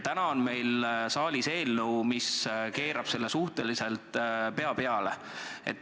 Täna on meil saalis eelnõu, mis keerab selle suhteliselt pea peale.